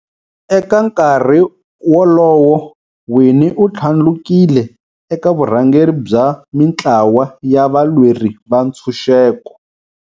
Eka nkarhi wolowo, Winnie u thlandlukile eka vurhangeri bya mintlawa ya valweri va ntshuxeko.